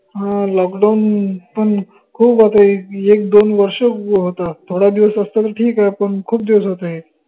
हं lockdown पन खूप होत एक दोन वर्ष होत थोडा दिवस असत त ठीक आहे पन खूप दिवस होत हे